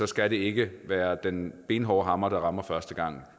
skal det ikke være en benhård hammer der rammer første gang